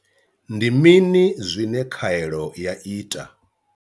Ndi mini zwine khaelo ya ita?